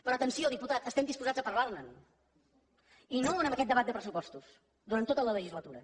però atenció diputat estem disposats a parlar ne i no en aquest debat de pressupostos durant tota la legislatura